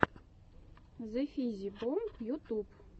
зэфиззибомб ютуб